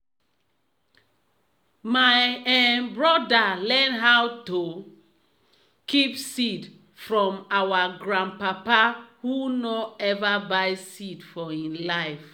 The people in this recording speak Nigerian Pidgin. my um broda learn how to keep seed from our grandpapa who nor ever buy seed for e life.